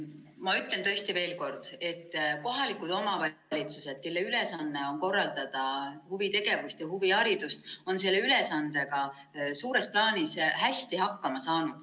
Ma ütlen tõesti veel kord: kohalikud omavalitsused, kelle ülesanne on korraldada huvitegevust ja huviharidust, on selle ülesandega suures plaanis hästi hakkama saanud.